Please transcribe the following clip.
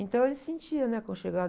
Então, ele se sentia, né? Aconchegado.